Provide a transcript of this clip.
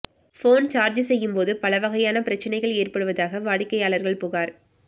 phone charge செய்யும் போது பல வகையான பிரச்சனைகள் ஏற்படுவதாக வாடிக்கையாளர்கள் புகார்